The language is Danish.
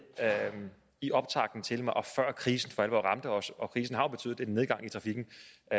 i optakten til og før krisen for alvor ramte os og krisen har jo betydet en nedgang i trafikken